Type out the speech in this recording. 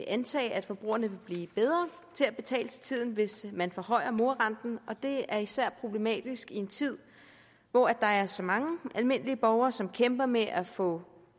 antage at forbrugerne vil blive bedre til at betale til tiden hvis man forhøjer morarenten og det er især problematisk i en tid hvor der er så mange almindelige borgere som kæmper med at få